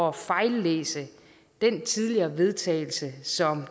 at fejllæse den tidligere vedtagelse som